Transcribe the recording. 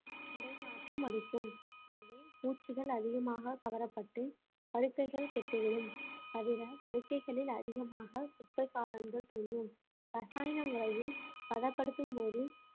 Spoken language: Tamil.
உடை நாற்றம் அடிக்கும் எனவே பூச்சிகள் அதிகமாக கவரப்பட்டு படுக்கைகள் கெட்டுவிடும் தவிர படுக்கைகளில் அதிகமாக குப்பை காளான்கள் தோன்றும் ரசாயன முறையில் பதப்படுத்தும்போது